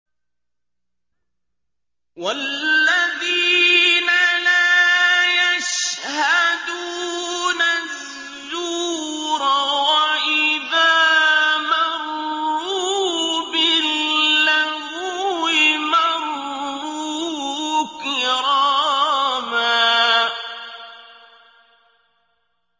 وَالَّذِينَ لَا يَشْهَدُونَ الزُّورَ وَإِذَا مَرُّوا بِاللَّغْوِ مَرُّوا كِرَامًا